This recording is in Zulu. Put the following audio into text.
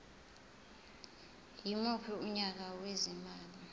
yimuphi unyaka wezimali